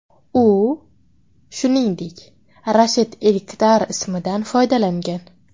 U, shuningdek, Rashid Elkdar ismidan foydalangan.